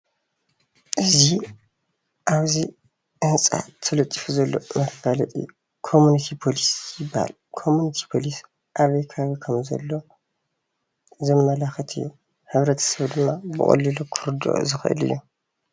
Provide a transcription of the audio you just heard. እዚ ኣብዚ ህንፃ ተሊጡፉ ዘሎ መፋለጢ ኮምኒቲ ፖሊስ ይበሃል። ኮምኒቲ ፖሊስ ኣበይ ከባቢ ከም ዘሎ ዘመላኽት እዩ። ሕብረተሰብ ድማ ብቀሊሉ ክርድኦ ዝኽእል እዩ።